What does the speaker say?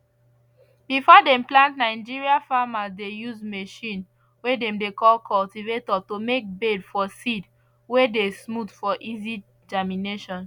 before dem plant nigeria farmers dey use machine way dem dey call cultivator to make bed for seed way dey smooth for easy germination